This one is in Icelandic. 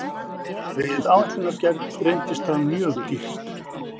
Við áætlunargerð reynist það mjög dýrt.